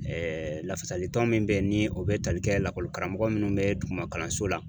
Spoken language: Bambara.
lafasalitɔn min bɛ yen ni o bɛ tali kɛ lakɔli karamɔgɔ minnu bɛ duguma kalanso la.